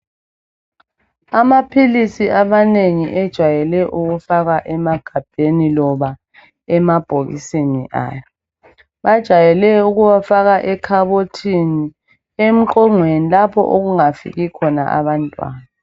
Amaphilisi amanengi ,ejwayele ukufakwa emagabheni loba emabhokisini ayo .Bajayele ukuwafaka ekhabothini emqongweni lapho okungafiki khona abantwana.